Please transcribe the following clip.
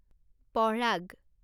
পঃৰাগ